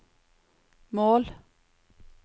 mål